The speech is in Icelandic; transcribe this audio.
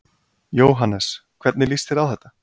Jóhannes: Hvernig líst þér á þetta?